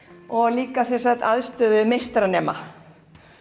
líka aðstöðu meistaranema